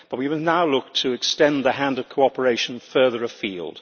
But we will now look to extend the hand of cooperation further afield.